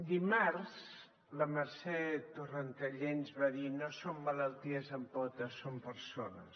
dimarts la mercè torrentallé ens va dir no som malalties amb potes som persones